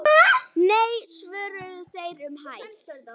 Nei svöruðu þeir um hæl.